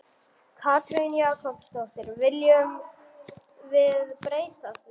Katrín Jakobsdóttir: Viljum við breyta því?